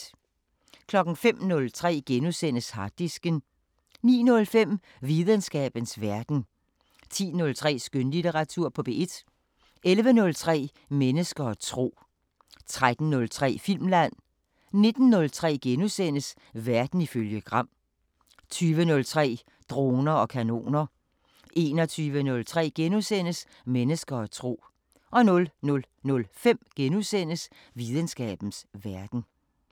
05:03: Harddisken * 09:05: Videnskabens Verden 10:03: Skønlitteratur på P1 11:03: Mennesker og tro 13:03: Filmland 19:03: Verden ifølge Gram * 20:03: Droner og kanoner 21:03: Mennesker og tro * 00:05: Videnskabens Verden *